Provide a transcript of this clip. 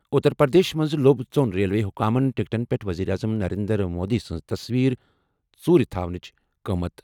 اُتر پرٛدیشس منٛز لوٚب ژۄن ریلوے حُکامَن ٹِکٹَن پٮ۪ٹھ ؤزیٖر اعظم نریندر مودی سٕنٛز تصویر ژوٗرِ تھاوٕنہِ قۭمتی ۔